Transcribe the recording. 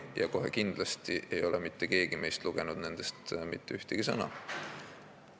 Ja kohe kindlasti ei ole mitte keegi meist nendest mitte ühtegi sõna lugenud.